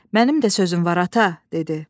Mənim də sözüm var ata, dedi.